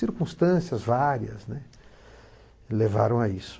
Circunstâncias várias, né, levaram a isso.